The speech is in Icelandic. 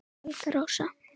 Helga Rósa